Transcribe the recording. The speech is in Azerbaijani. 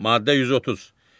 Maddə 130.